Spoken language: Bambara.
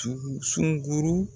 Tugu sunguru